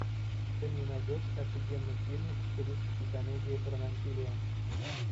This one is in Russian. ты мне найдешь офигенный фильмик в стилистике комедия про насилие